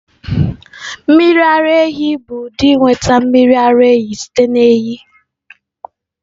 Mmiri ara ehi bụ ụdị ịnweta mmiri ara ehi site na ehi.